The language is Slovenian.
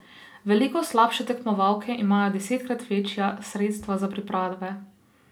Veliko slabše tekmovalke imajo desetkrat večja sredstva za priprave.